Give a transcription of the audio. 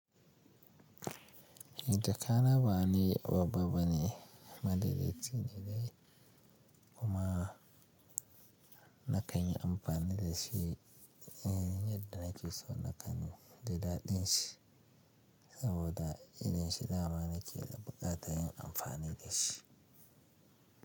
Jaka na ba wani babba bane, maɗaɗa ce ne dai. Amma na kan yi amfani da shi yadda nake son na gan da daɗin shi, saboda yanayin shi nama na ke da buƙatar yin amfani da shi.